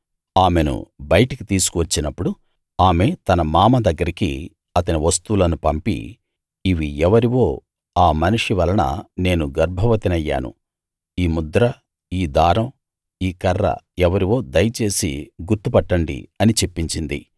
ఆమెను బయటికి తీసుకు వచ్చినప్పుడు ఆమె తన మామ దగ్గరికి అతని వస్తువులను పంపి ఇవి ఎవరివో ఆ మనిషి వలన నేను గర్భవతినయ్యాను ఈ ముద్ర ఈ దారం ఈ కర్ర ఎవరివో దయచేసి గుర్తు పట్టండి అని చెప్పించింది